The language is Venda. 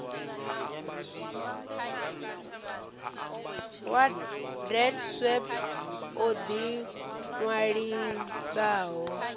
wa deedsweb o ḓi ṅwalisaho